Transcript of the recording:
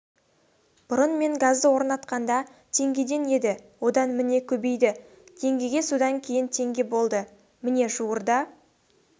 бұрын мен газды орнатқанда теңгеден еді одан міне көбейді теңгеге содан кейін теңге болды міне жуырда